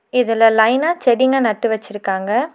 இதுல லைனா செடிங்க நட்டு வச்சிருக்காங்க.